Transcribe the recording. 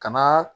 Kana